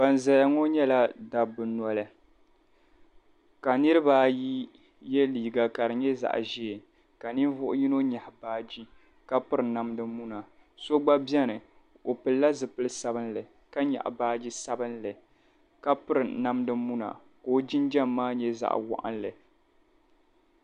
Ban zaya ŋɔ nyɛla dabba noli ka niriba ayi ye liiga ka di nyɛ zaɣ' ʒee ka ninvuɣ' yino nyaɣi baaji ka piri namda muna so gba beni o pilila zipil' sabilinli ka nyaɣi baaji sabilinli ka piri namda muna ka o jinjam maa nyɛ zaɣ' waɣinli.